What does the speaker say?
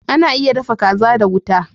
Ana iya dafa kaza da wuta